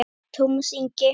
Tómas Ingi.